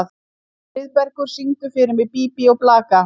Friðbergur, syngdu fyrir mig „Bí bí og blaka“.